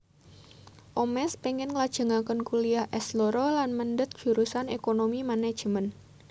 Omesh pengin nglajengaken kuliah S loro lan mendhet jurusan Ekonomi Manajemen